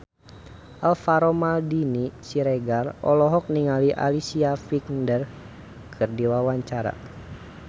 Alvaro Maldini Siregar olohok ningali Alicia Vikander keur diwawancara